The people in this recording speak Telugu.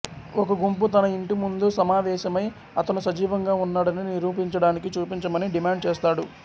ఒక గుంపు తన ఇంటి ముందు సమావేశమై అతను సజీవంగా ఉన్నాడని నిరూపించడానికి చూపించమని డిమాండ్ చేస్తాడు